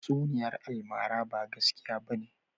Tatsuniyar almara ba gaskiya bane.